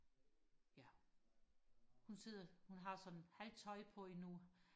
ja hun sidder hun har sådan halvt tøj på endnu